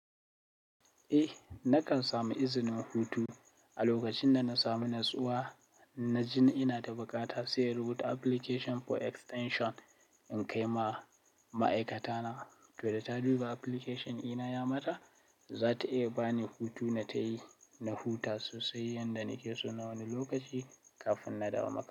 Na kan samu iznin hutu a lokacin da na sami natsuwa, na ji ni ina da buƙata sai in rubuta application for extension in kai ma ma'aikata na. To da ta duba application ina ya mata, za ta iya ba ni hutu na tayi, na huta sosai yanda nake so na wani lokaci kafin na dawo makaranta.